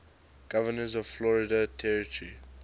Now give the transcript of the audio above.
governors of florida territory